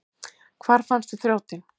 Hvar fannstu þrjótinn?